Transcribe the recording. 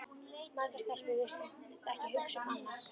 Margar stelpur virtust ekki hugsa um annað.